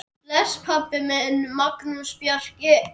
Bless, pabbi minn, Magnús Bjarki.